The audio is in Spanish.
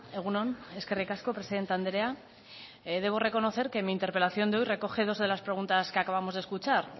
egun on eskerrik asko presidente andrea debo reconocer que mi interpelación de hoy recoge dos de las preguntas que acabamos de escuchar